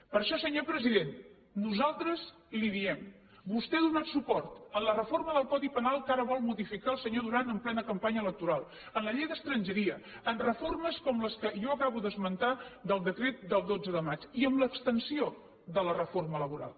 per això senyor president nosaltres li diem vostè ha donat suport a la reforma del codi penal que ara vol modificar el senyor duran en plena campanya electoral a la llei d’estrangeria a reformes com les que jo acabo d’esmentar del decret del dotze de maig i a l’extensió de la reforma laboral